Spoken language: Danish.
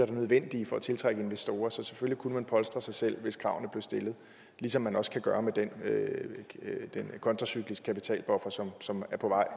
er nødvendige for at tiltrække investorer så selvfølgelig kunne man polstre sig selv hvis kravene blev stillet ligesom man også kan gøre det med den kontracykliske kapitalbuffer som som er på vej